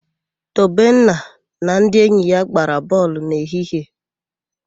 Tobenna na ndị enyi ya gbara bọọlụ n'ehihie.